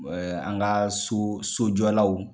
Ɛɛ an ka so sojɔlaw